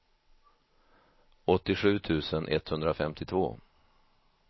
åttiosju tusen etthundrafemtiotvå